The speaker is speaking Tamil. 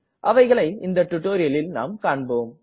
அவைகளை இந்த டுட்டோரியலில் நாம் காண்போம்